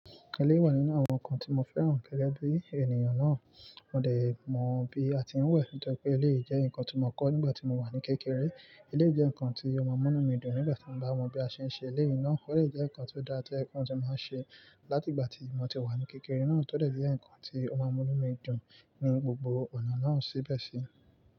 Eleyii wà nínú àwọn nǹkan tí mo fẹ́ràn gẹ́gẹ́ bí ènìyàn náà. Mo dè mọ̀ bí a ti ń wẹ̀ nítorí pé eléyìí ìjẹ́ nǹkan tí mo kọ̀ nígbà tí mo wà ní kékeré. Eleyii jẹ́ nǹkan tí ọmọ mu inu mi dùn nígbà tí mo bá mọ bí a ṣe ń ṣe eleyii ná. De je nǹkan tó dáa tí ẹkùn tí máa ń ṣe láti ìgbà tí ìmọ̀ ti wà ní kékeré náà tódẹ̀díé nǹkan tí ọmọ mu inú mi dùn ní gbogbo ọ̀nà náà síbẹ̀ sí.